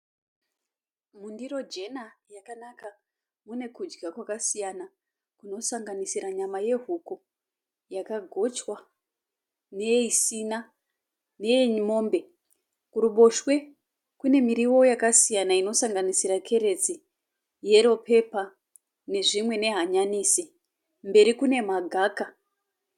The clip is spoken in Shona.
Mundiro jena yakanaka. Mune kudya kwakasiyana kunosanganisira nyama yehuku yakagochwa neisina neyemombe. Kuruboshwe kune miriwo yakasiyana inosanganisira keretsi, yero pepa nezvimwe nehanyanisi, mberi kune magaka.